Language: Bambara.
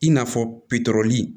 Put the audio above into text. I n'a fɔ